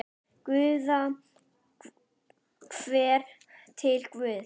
Góða ferð til Guðs.